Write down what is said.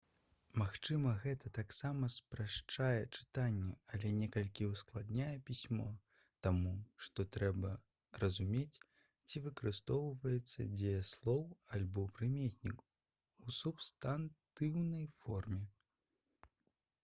магчыма гэта таксама спрашчае чытанне але некалькі ўскладняе пісьмо таму што трэба разумець ці выкарыстоўваецца дзеяслоў альбо прыметнік у субстантыўнай форме